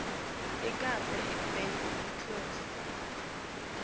inkapani ibe yiclose